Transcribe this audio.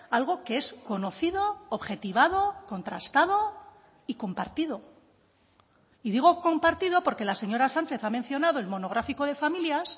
algo que es conocido objetivado contrastado y compartido y digo compartido porque la señora sánchez ha mencionado el monográfico de familias